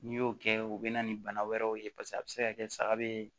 N'i y'o kɛ o bɛ na ni bana wɛrɛw ye paseke a bɛ se ka kɛ saga bee